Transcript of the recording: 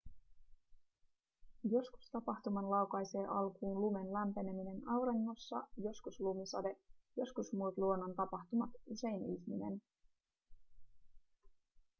joskus tapahtuman laukaisee alkuun lumen lämpeneminen auringossa joskus lumisade joskus muut luonnontapahtumat usein ihminen